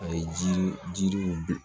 A ye jiri jiriw bin